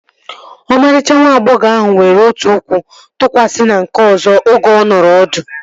Ọmarịcha nwa agbọghọ ahụ were otu ụkwụ tụkwasị na nke ọzọ oge ọ nọrọ ọdụ